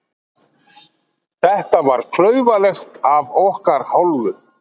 Þetta var klaufalegt af okkar hálfu.